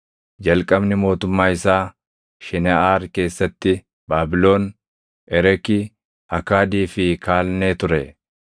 Jalqabni mootummaa isaa Shineʼaar keessatti Baabilon, Ereki, Akaadii fi Kaalnee ture.